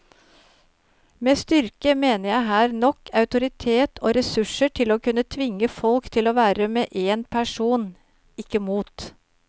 Med styrke mener jeg her nok autoritet og ressurser til å kunne tvinge folk til å være med en person, ikke mot.